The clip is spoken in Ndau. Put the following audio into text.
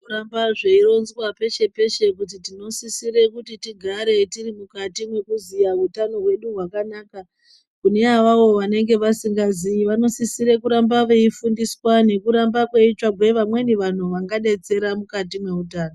Zvinohamba zveironzwa peshe-pese kuti tinosisire kuti tigare tiri mukati mwekuziya utano hwedu hwakanaka. Kune avavo vanenge vasingazii vanosisire kuramba veifundiswa nekurambe kweitsvagwe vamweni vantu vanobetsera mukati mweutano.